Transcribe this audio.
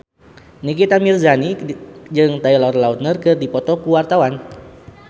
Nikita Mirzani jeung Taylor Lautner keur dipoto ku wartawan